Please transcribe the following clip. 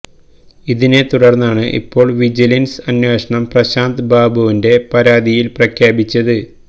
ഇതിനെ തുടർന്നാണ് ഇപ്പോൾ വിജിലൻസ് അന്വേഷണം പ്രശാന്ത് ബാബുവിന്റെ പരാതിയിൽ പ്രഖ്യാപിച്ചത്